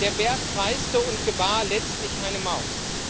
Der Berg kreißte und gebar letztlich eine Maus.